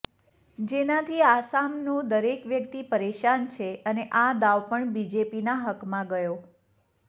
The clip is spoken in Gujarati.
જેનાથી આસામનો દરેક વ્યક્તિ પરેશાન છે અને આ દાવ પણ બીજેપીના હકમાં ગયો